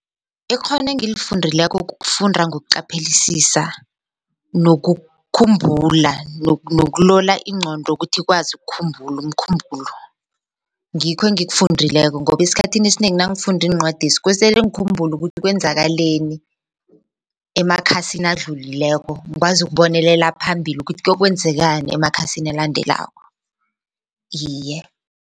Ikghono engilifundileko kukufunda ngokuqaphelisisa nokukhumbula nokulola ingqondo ukuthi ikwazi ukukhumbula umkhumbulo ngikho engikufundileko ngoba esikhanini esinengi nangifunda iincwadezi kosele ngikhumbule ukuthi kwenzakaleni emakhasini adlulileko ngikwazi ukubonelela phambili ukuthi kuyokwenzekani emakhasini elandelako iye.